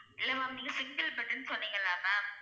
இல்ல ma'am நீங்க single bed ன்னு சொன்னிங்களா ma'am